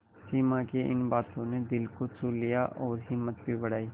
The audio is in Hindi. सिमा की इन बातों ने दिल को छू लिया और हिम्मत भी बढ़ाई